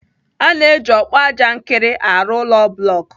A na-eji ọkpụajankịrị arụ ụlọ blọk.